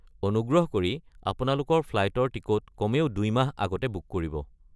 অনুগ্ৰহ কৰি আপোনালোকৰ ফ্লাইটৰ টিকট কমেও ২ মাহ আগতে বুক কৰিব।